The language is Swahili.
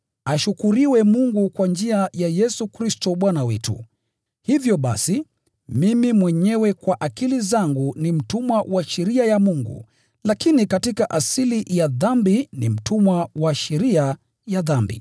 Ashukuriwe Mungu kwa njia ya Yesu Kristo Bwana wetu! Hivyo basi, mimi mwenyewe kwa akili zangu ni mtumwa wa sheria ya Mungu, lakini katika asili ya dhambi ni mtumwa wa sheria ya dhambi.